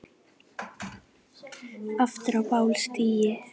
áður á bál stigi